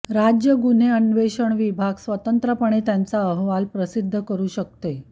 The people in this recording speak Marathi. राज्य गुन्हे अन्वेषण विभाग स्वतंत्रपणे त्यांचा अहवाल प्रसिद्ध करू शकते